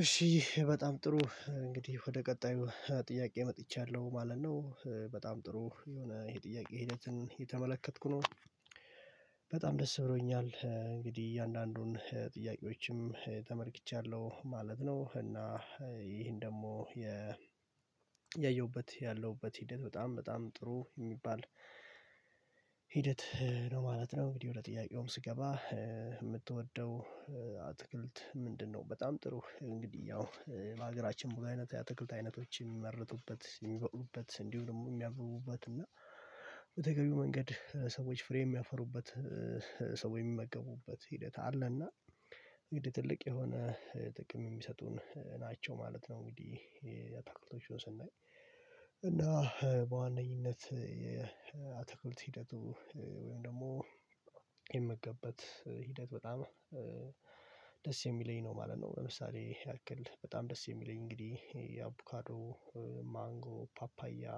እሺ በጣም ጥሩ እንግዲህ ወደ ቀጣዩ ጥያቄ መጥቻለሁ ማለት ነው በጣም ጥሩ የሆነ የጥያቄ ሂደትን እየተመለከትኩ ነው። በጣም ደስ ብሎኛል እንግዲህ እያንዳንዱን ጥያቄዎችንም ተመልክቻለሁ ማለት ነው። እና ይህን ደግሞ ያየሁበት ያለሁበት ሂደት በጣም በጣም ጥሩ የሚባል ሂደት ነው ማለት ነው። እንግዲህ ወደ ጥያቄውም ስገባ የምትወደው አትክልት ምንድነው? በጣም ጥሩ እንግዲህ ያው በሀገራችን ሙሉ አይነት የአትክልት አይነቶች የሚመርቱበት የሚበቁልበት እንዲሁ ደግሞ የሚያብቡበት እና በተገቢው መንገድ ሰዎች ፍሬ የሚያፈሩበት ሰው የሚመግቡበት ሂደት አለ እንግዲህ ትልቅ የሆነ ጥቅም የሚሰጡን ናቸው ማለት ነው። እንግዲህ አታክልቶቹን ስናይ እና በዋነኝነት የአታክልት ሂደቱ ወይም ደግሞ የምመገብበት ሂደት በጣም ደስ የሚለኝ ነው ማለት ነው። ለምሳሌ ያክል በጣም ደስ የሚለኝ እንግዲህ የአቡካዶ ማንጎ ፓፓያ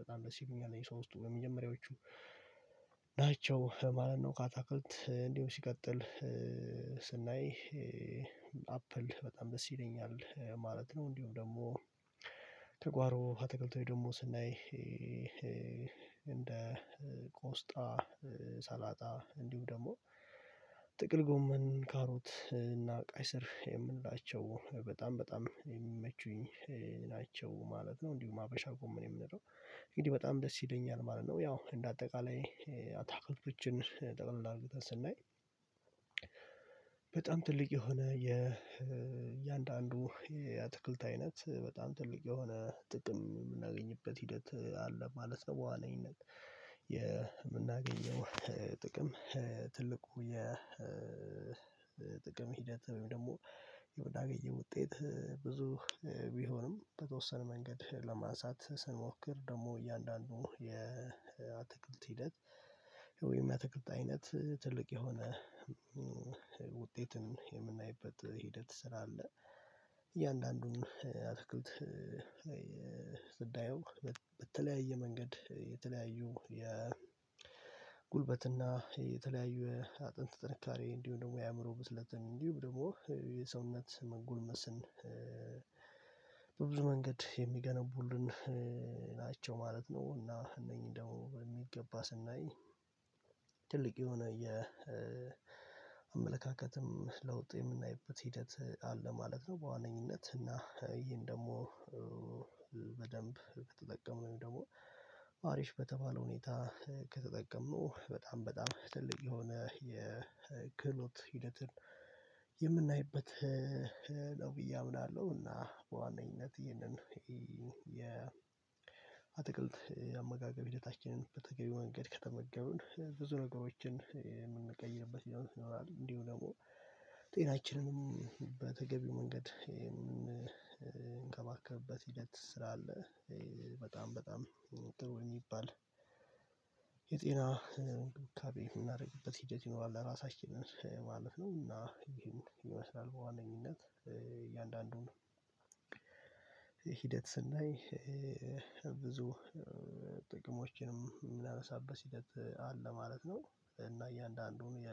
በጣም ደስ ይሉኛል የሶስቱ የመጀመሪያዎቹ ናቸው ማለት ነው። ከአታክልት እንዲሁ ሲቀጥል አፕል በጣም ደስ ይለኛል ማለት ነው። እንዲሁም ደግሞ ከጓሮ አትክልቶችኝ ደግሞ ስናይ እንደ ቆስጣ ሰላጣ እንዲሁ ደግሞ ጥቅል ጎመን ካሮት እና ቀይ ስር የምንላቸው በጣም በጣም የሚመቹኝ ናቸው ማለት ነው። እንዲሁ ሀበሻ ጎመንም የምንለው እንግዲህ በጣም ደስ ይለኛል ማለት ነው። ያው እንደ አጠቃላይ አታክልቶችን ጠቅልል አድርገን ስናይ በጣም ትልቅ የሆነ የእያንዳንዱ የአትክልት አይነት በጣም ትልቅ የሆነ ጥቅም የምናገኝበት ሂደት አለ። በዋነኝነት የምናገኘው ጥቅም ትልቁ የጥቅም ሂደት ወይም ደግሞ የምናገኘው ውጤት ብዙ ቢሆንም በተወሰነ መንገድ ለማንሳት ስንሞክር ደግሞ እያንዳንዱ ሂደት ወይም የአትክልት አይነት ትልቅ የሆነ ውጤትን የምናይበት ሂደት ስራ አለ። እያንዳንዱን አትኩልት በተለያየ መንገድ የተለያዩ የጉልበትና የተለያዩ አጥንት ጥንካሬ እንዲሁም ደግሞ የአእምሮ ብስለትን እንዲሁም ደግሞ የሰውነት መጎልመስን በብዙ መንገድ የሚገነቡልን ናቸው ማለት ነው። እና እነኚህ ደግሞ በሚገባ ስናይ ትልቅ የሆነ የአመለካከትም ለውጥ የምናይበት ሂደት አለ ማለት ነው። በዋነኝነት እና ይሄን ደግሞ በደንብ በተጠቀመው ወይም ደግሞ ሀሪፍ በተባለው ሁኔታ ከተጠቀመው በጣም በጣም ትልቅ የሆነ የክህሎት ሂደትን የምናይበት ነው ብዬ አምናለሁ። እና በዋነኝነት ይሄንን የ አትክልት አመጋገብ ሂደታችንን በተገቢ መንገድ ከተመገቡን ብዙ ነገሮችን የምንቀይርበት ይሆናል እንዲሁ ደግሞ ጤናችንንም በተገቢ መንገድ የምንከባከብበት ሂደት ስራ አለ። በጣም በጣም ጥሩ የሚባል የጤና እንክብካቤ የምናደርግበት ሂደት ይኖራል ለራሳችን ማለት ነው። እና ይሄን ይመስላል በዋነኝነት እያንዳንዱን ሂደት ስናይ ብዙ ጥቅሞችንም የምናነሳበት ሂደት አለ ማለት ነው። እና እያንዳንዱን የ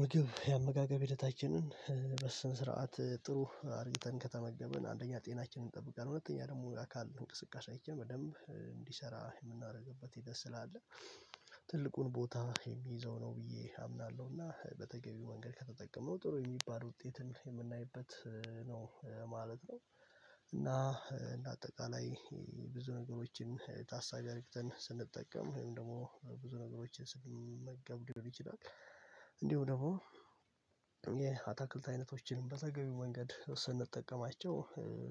ምግብ የአመጋገብ ሂደታችንን በስነ ስርዓት ጥሩ አድርገን ከተመገብን አንደኛ ጤናችንን እንጠብቃለን ሁለተኛ ደግሞ አካል እንቅስቃሴኣችን በደንብ እንዲሰራ የምናደርግበት ሂደት ስላለ ትልቁን ቦታ የሚይዘው ነው ብዬ አምናለሁ። እና በተገቢው መንገድ ከተጠቀመው ጥሩ የሚባል ውጤትን የምናይበት ነው ማለት ነው። እና በአጠቃላይ ብዙ ነገሮችን ታሳቢ አርግተን ስንጠቀም ወይም ደግሞ ብዙ ነገሮችን ስንመገብ ሊሆን ይችላል። እንዲሁ ደግሞ የአታክልት አይነቶችን በተገቢው መንገድ ስንጠቀማቸው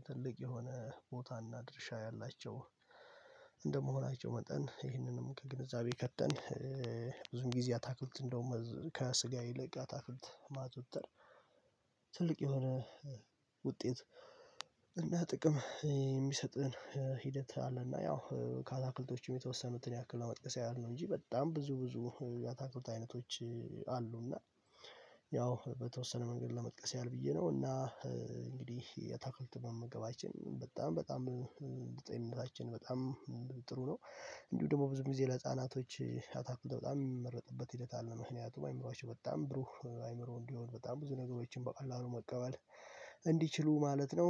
ትልቅ የሆነ ቦታና ድርሻ ያላቸው እንደመሆናቸው መጠን ይህንንም ከግንዛቤ ከተን ብዙም ጊዜ አታክልትን እንደውም ከስጋ ይልቅ አታክልት ማዘውተር ትልቅ የሆነ ውጤት እና ጥቅም የሚሰጥህን ሂደት አለና። ያው ከአታክልቶችም የተወሰኑትን ያክል ለመጥቀስ ያህል ነው እንጂ በጣም ብዙ ብዙ የአታክልት አይነቶች አሉና ያው በተወሰነ መንገድ ለመጥቀስ ያህል ብዬ ነው። እና እንግዲህ የአታክልት በመመገባችን በጣም በጣም በጤንነታችን በጣም ጥሩ ነው። እንዲሁ ደግሞ ብዙ ጊዜ ለህፃናቶች አታክልት በጣም የሚመረጥበት ሂደት አለ ምክንያቱም አይምሮአቸው በጣም ብሩህ አይምሮ እንዲሆን በጣም ብዙ ነገሮችን በቀላሉ መቀበል እንዲችሉ ማለት ነው